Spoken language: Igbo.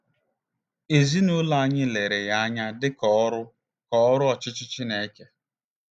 Ezinụlọ anyị lere ya anya dị ka ọrụ ka ọrụ ọchịchị Chineke. ”